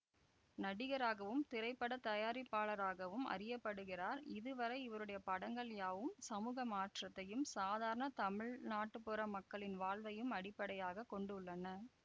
நடிகராகவும் திரைப்பட தயாரிப்பாளராகவும் அறிய படுகிறார் இதுவரை இவருடைய படங்கள் யாவும் சமூக மாற்றத்தையும் சாதாரண தமிழ் நாட்டுப்புற மக்களின் வாழ்வையும் அடிப்படையாக கொண்டுள்ளன